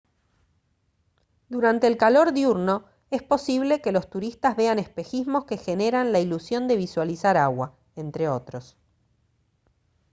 durante el calor diurno es posible que los turistas vean espejismos que generan la ilusión de visualizar agua entre otros